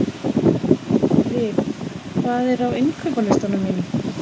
Liv, hvað er á innkaupalistanum mínum?